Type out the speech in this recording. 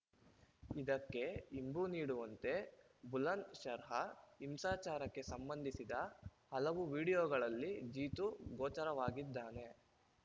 ಇದಕ್ಕೆ ಇಂಬು ನೀಡುವಂತೆ ಬುಲಂದ್‌ಶರ್ಹ ಹಿಂಸಾಚಾರಕ್ಕೆ ಸಂಬಂಧಿಸಿದ ಹಲವು ವಿಡಿಯೋಗಳಲ್ಲಿ ಜೀತು ಗೋಚರವಾಗಿದ್ದಾನೆ